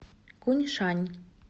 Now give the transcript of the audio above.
куньшань